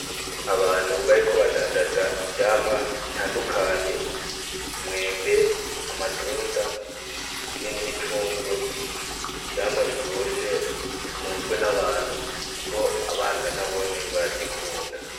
Abantu bariko badandaza ivyamwa butandukanye cumwembe, amatunda hamwe n'imicungwe, ivyamwa biryoshe bukunzwe nabantu , kuko abana nabone barazikunda .